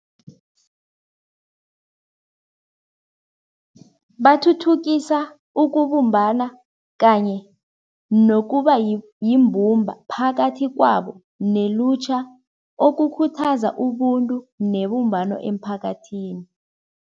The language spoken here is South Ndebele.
Bathuthukisa ukubumbana kanye nokuba yimbumba phakathi kwabo nelutjha, okukhuthaza ubuntu nebumbano emphakathini.